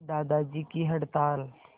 दादाजी की हड़ताल